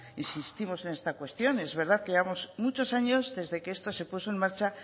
insistimos en esta cuestión es verdad que llevamos muchos años desde que esto se puso en marcha